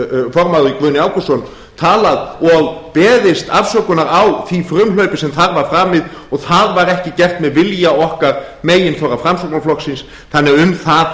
formaður guðni ágústsson talað og beðist afsökunar á því frumhlaupi sem þar var framið og það var ekki gert með vilja okkar meginþorra framsóknarflokksins þannig að um það